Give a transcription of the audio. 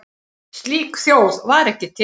Slík þjóð var ekki til.